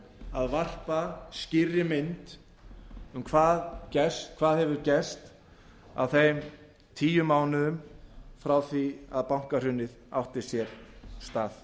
að varpa skýrri mynd um hvað hefur gerst á þeim tíu mánuðum frá því að bankahrunið átti sér stað